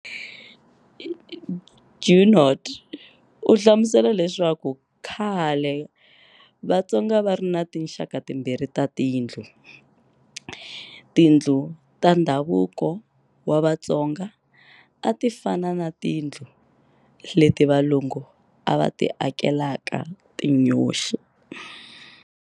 Junod u hlamusela leswaku khale Vatsonga a va ri na tinxaka timbirhi ta tindlu. Tindlu ta ndhavuko wa Vatsonga a ti fana na tindlu leti Valungu va ti akelaka tinyoxi.